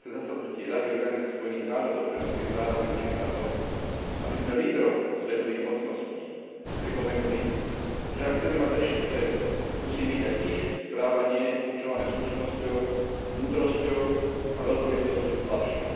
19. zasadnutie Rady Organizácie spojených národov pre ľudské práva využiť na to, aby sme lídrom svetových mocností pripomenuli, že ak chceme mať lepší svet, musí byť aj ich správanie určované slušnosťou, múdrosťou a veľkorysosťou k slabším.